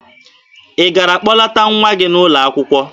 Ị gara kpọlata nwa gị n'ụlọ akwụkwọ?